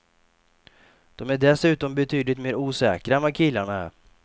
De är dessutom betydligt mer osäkra än vad killarna är.